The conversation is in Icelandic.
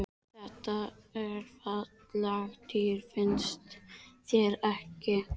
Þetta eru falleg dýr, finnst þér ekki?